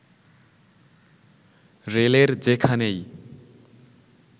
রেলের যেখানেই